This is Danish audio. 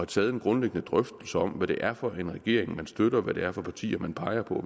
taget en grundlæggende drøftelse om hvad det er for en regering man støtter hvad det er for partier man peger på